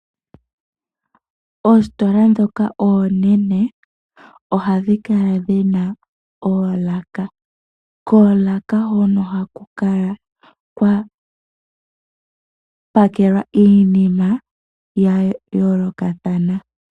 Oositola ndhoka oonene, ohadhi kala dhina oolaka. Koolaka hono ohaku kala kwa pakelwa iinima yayoolokathana.